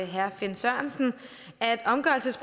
herre finn sørensen